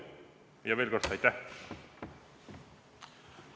Ja veel kord: aitäh!